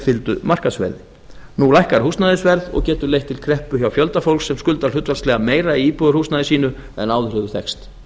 fylgdu markaðsverði nú lækkar húsnæðisverð og getur leitt til kreppu hjá fjölda fólks sem skuldar hlutfallslega meira í íbúðarhúsnæði sínu en áður hefur þekkst